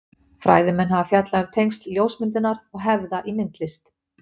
Fræðimenn hafa fjallað um tengsl ljósmyndunar og hefða í myndlist.